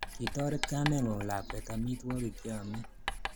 Kitoret kamengung lakwet amitwogik che amei